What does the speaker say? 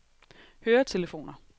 høretelefoner